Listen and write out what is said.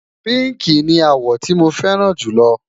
pinki ní àwo tí mọ fẹràn julo